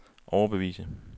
overbevise